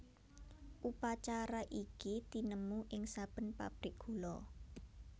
Upacara iki tinemu ing saben pabrik gula